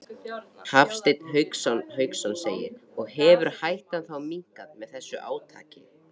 Hafsteinn Hauksson: Og hefur hættan þá minnkað með þessu átaki?